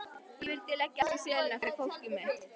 Ég vildi leggja allt í sölurnar fyrir fólkið mitt.